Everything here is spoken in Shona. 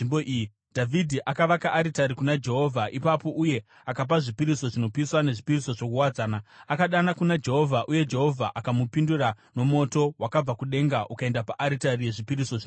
Dhavhidhi akavaka aritari kuna Jehovha ipapo uye akapa zvipiriso zvinopiswa nezvipiriso zvokuwadzana. Akadana kuna Jehovha uye Jehovha akamupindura nomoto wakabva kudenga ukaenda paaritari yezvipiriso zvinopiswa.